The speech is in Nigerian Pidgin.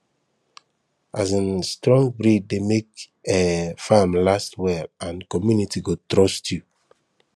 um strong breed dey make um farm last well and community go trust you